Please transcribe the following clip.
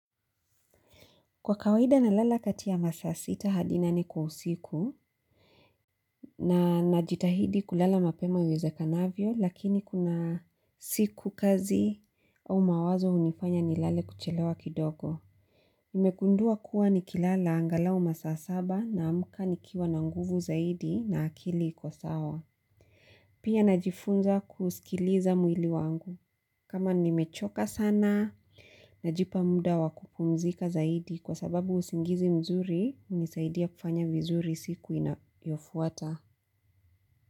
Kwa kawaida nalala kati ya masa sita hadi nane kwa usiku na najitahidi kulala mapema iwezekanavyo lakini kuna siku kazi au mawazo hunifanya nilale kuchelewa kidogo. Nimegundua kuwa nikilala angalau masaa saba naamka nikiwa na nguvu zaidi na akili iko sawa. Pia najifunza kusikiliza mwili wangu. Kama nimechoka sana, najipa muda wa kupumzika zaidi kwa sababu usingizi mzuri, hunisaidia kufanya vizuri siku inayofuata.